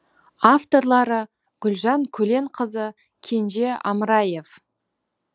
авторлары гүлжан көленқызы кенже амыраев